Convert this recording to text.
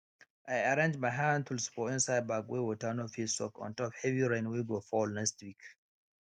i arrange my handtools for inside bag wey water no fit soak ontop heavy rain wey go fall next week